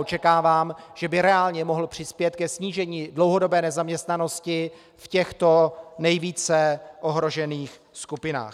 Očekávám, že by reálně mohl přispět ke snížení dlouhodobé nezaměstnanosti v těchto nejvíce ohrožených skupinách.